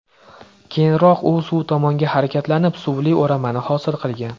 Keyinroq u suv tomonga harakatlanib, suvli o‘ramani hosil qilgan.